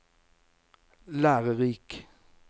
lærerik